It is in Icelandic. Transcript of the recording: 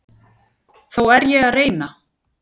Þó er ég að reyna!